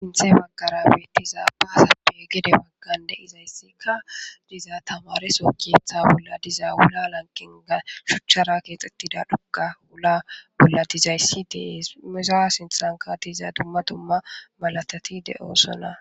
Sinthe makara biitizaa ba asape gede waggan de izayssikka dizaa tamareso keeththa bolla diza wula lanqinga shuchchara keexxettida dhuka wula bolla dizayssi ties misa sinxanka diiza dumma dumma malatati de'oo sona.